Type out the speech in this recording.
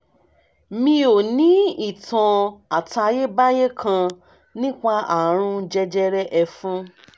mi ò ní ìtàn àtayébáyé kan nípa àrùn jẹjẹrẹ ẹ̀fun